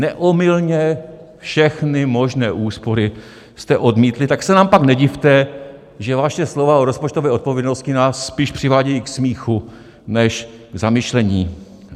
Neomylně všechny možné úspory jste odmítli, tak se nám pak nedivte, že vaše slova o rozpočtové odpovědnosti nás spíš přivádějí k smíchu než k zamyšlení.